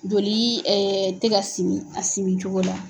Joli ɛ tɛ ka sigi a sigi cogo la.